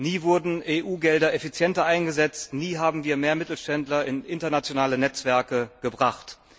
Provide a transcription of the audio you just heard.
Nie wurden EU Gelder effizienter eingesetzt, nie haben wir mehr Mittelständler in internationale Netzwerke gebracht.